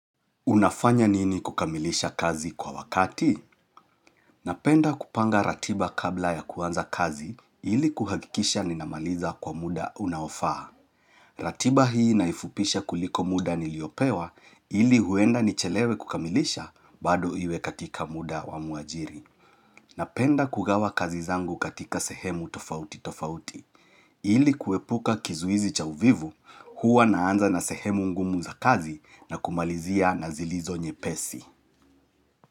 Unafanya nini kukamilisha kazi kwa wakati? Napenda kupanga ratiba kabla ya kuanza kazi ili kuhakikisha ninamaliza kwa muda unaofaa. Ratiba hii naifupisha kuliko muda niliopewa ili huenda nichelewe kukamilisha bado iwe katika muda wa muajiri. Napenda kugawa kazi zangu katika sehemu tofauti tofauti. Ili kuepuka kizuizi cha uvivu huwa naanza na sehemu ngumu za kazi na kumalizia na zilizo nyepesi.